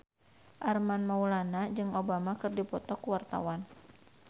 Armand Maulana jeung Obama keur dipoto ku wartawan